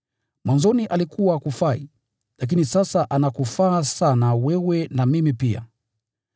Mwanzoni alikuwa hakufai, lakini sasa anakufaa sana wewe na mimi pia.